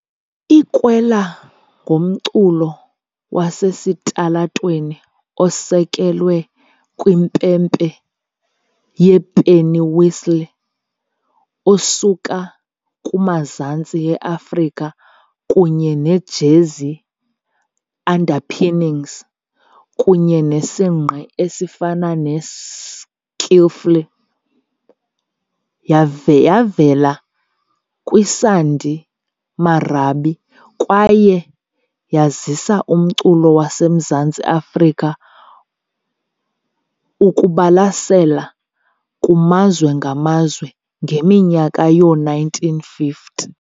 I- Kwela ngumculo wasesitalatweni osekelwe kwimpempe yepennywhistle osuka kumazantsi e-Afrika kunye ne-jazzy underpinnings kunye nesingqi esifana ne- skiffle . Yavela kwisandi marabi kwaye yazisa umculo waseMzantsi Afrika ukubalasela kumazwe ngamazwe ngeminyaka yoo-1950.